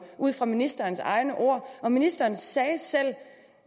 ud fra ministerens egne ord og ministeren sagde selv